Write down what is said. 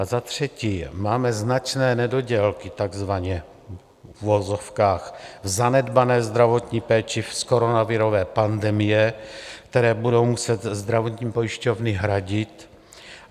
A za třetí máme značné nedodělky takzvaně v uvozovkách v zanedbané zdravotní péči z koronavirové pandemie, které budou muset zdravotní pojišťovny hradit.